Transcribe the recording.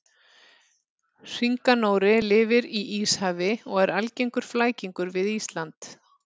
Hringanóri lifir í Íshafi og er algengur flækingur við Ísland.